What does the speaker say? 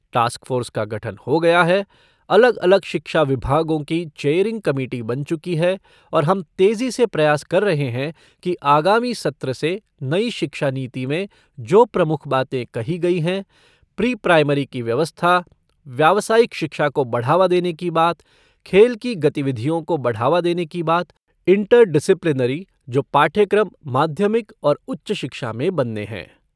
Task force का गठन हो गया है, अलग अलग शिक्षा विभागों की चेयरिंग कमेटी बन चुकी है और हम तेज़ी से प्रयास कर रहे हैं कि आगामी सत्र से नई शिक्षा नीति में जो प्रमुख बातें कही गई हैं, प्री प्राइमरी की व्यवस्था, व्यावसायिक शिक्षा को बढ़ावा देने की बात, खेल की गतिविधियों को बढ़ावा देने की बात, इंटर डिसिप्लिनरी जो पाठ्यक्रम माध्यमिक और उच्च शिक्षा में बनने हैं।